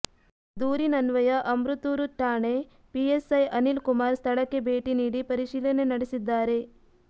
ದೂರಿನನ್ವಯ ಅಮೃತೂರು ಠಾಣೆ ಪಿಎಸ್ಐ ಅನಿಲ್ ಕುಮಾರ್ ಸ್ಥಳಕ್ಕೆ ಭೇಟಿ ನೀಡಿ ಪರಿಶೀಲನೆ ನಡೆಸಿದ್ದಾರೆ